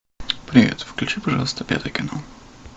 привет включи пожалуйста пятый канал